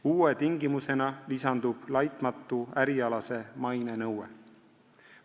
Uue tingimusena lisandub laitmatu ärialase maine nõue.